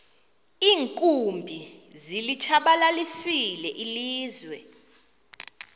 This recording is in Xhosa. iinkumbi zilitshabalalisile ilizwe